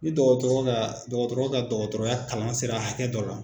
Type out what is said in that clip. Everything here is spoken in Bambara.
Ni dɔgɔtɔrɔ ka dɔgɔtɔrɔ ka dɔgɔtɔrɔya kalan sera hakɛ dɔ la.